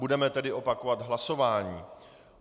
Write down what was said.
Budeme tedy opakovat hlasování.